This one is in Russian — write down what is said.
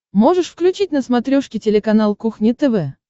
можешь включить на смотрешке телеканал кухня тв